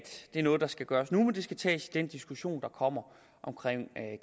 noget der skal gøres nu men tages i den diskussion der kommer om